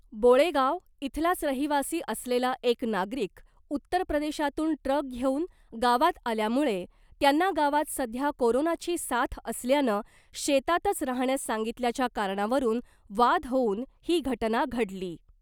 बोळेगाव इथलाच रहीवासी असलेला एक नागरिक उत्तरप्रदेशातुन ट्रक घेउन गावात आल्यामुळे त्यांना गावात सध्या कोरोनाची साथ असल्यानं शेतातच राहण्यास सांगितल्याच्या कारणावरून वाद होवून ही घटना घडली .